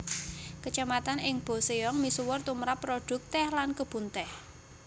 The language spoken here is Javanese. Kacamatan ing Boseong misuwur tumrap produk teh lan kebun teh